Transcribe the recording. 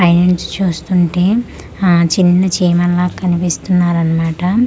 పై నుంచి చూస్తుంటే ఆ చిన్న చీమల్లా కనిపిస్తున్నారన్మాట.